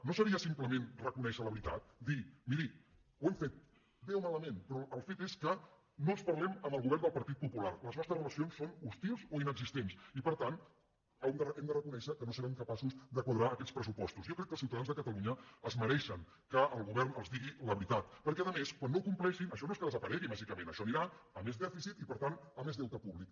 no seria implement reconèixer la veritat dir miri ho hem bé o malament però el fet és que no ens parlem amb el govern del partit popular les nostres relacions són hostils o inexistents i per tant hem de reconèixer que no serem capaços de quadrar aquests pressupostos jo crec que els ciutadans de catalunya es mereixen que el govern els digui la veritat perquè a més quan no ho compleixin això no és que desaparegui màgi·cament això anirà a més dèficit i per tant a més deu·te públic